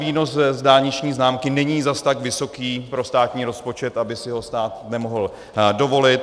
Výnos z dálniční známky není zas tak vysoký pro státní rozpočet, aby si ho stát nemohl dovolit.